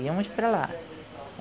Íamos para lá.